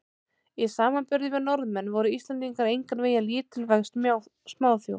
Í samanburði við Norðmenn voru Íslendingar engan veginn lítilvæg smáþjóð.